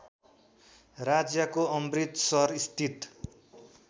राज्यको अमृतसरस्थित